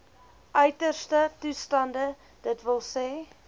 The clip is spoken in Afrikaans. uiterste toestande dws